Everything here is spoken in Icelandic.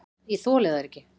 Ég þoli þær ekki.